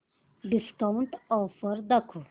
discount offer दाखव